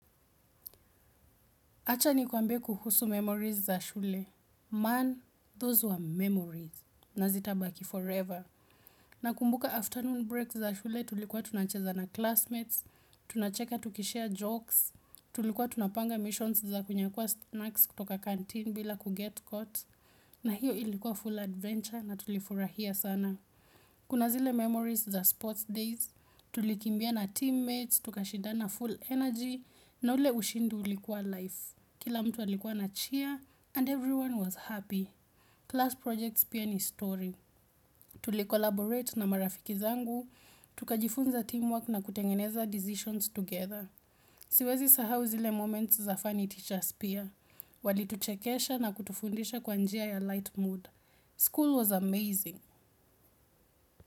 Acha nikuambe kuhusu memories za shule. Man, those were memories. Na zitabaki forever. Na kumbuka afternoon breaks za shule tulikuwa tunacheza na classmates, tunacheka tukishare jokes, tulikuwa tunapanga missions za kunyakuwa snacks kutoka canteen bila kuget caught. Na hiyo ilikuwa full adventure na tulifurahia sana. Kuna zile memories za sports days, tulikimbia na teammates, tukashidana full energy na ule ushindi ulikuwa life. Kila mtu alikuwa ana cheer and everyone was happy. Class projects pia ni story. Tuli-collaborate na marafiki zangu, tukajifunza teamwork na kutengeneza decisions together. Siwezi sahau zile moments za funny teachers pia. Walituchekesha na kutufundisha kwa njia ya light mood. School was amazing.